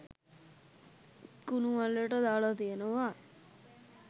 කුනු මුල්ලට දාල තියෙනව